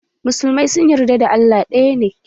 Musulmai sun yarda Allah ɗaya ne.